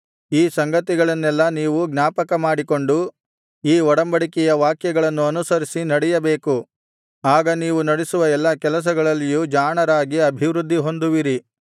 ಈ ಸಂಗತಿಗಳನ್ನೆಲ್ಲಾ ನೀವು ಜ್ಞಾಪಕಮಾಡಿಕೊಂಡು ಈ ಒಡಂಬಡಿಕೆಯ ವಾಕ್ಯಗಳನ್ನು ಅನುಸರಿಸಿ ನಡೆಯಬೇಕು ಆಗ ನೀವು ನಡಿಸುವ ಎಲ್ಲಾ ಕೆಲಸಗಳಲ್ಲಿಯೂ ಜಾಣರಾಗಿ ಅಭಿವೃದ್ಧಿಹೊಂದುವಿರಿ